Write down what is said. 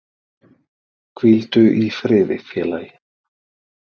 Hvíldu í friði félagi